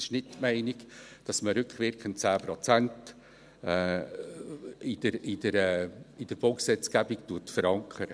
Es ist nicht die Meinung, dass man rückwirkend 10 Prozent in der Baugesetzgebung verankert.